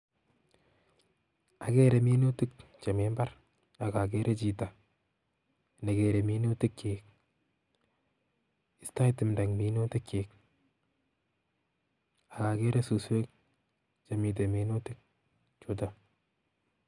Ageere minutik chemi mbar akageere chito negeere minuutik chiik istoi tumdo ing' minutik chiik akageere suswek chemite minutik chuutok